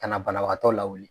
Ka na banabagatɔ la wuli.